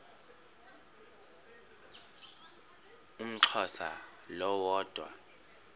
umxhosa lo woda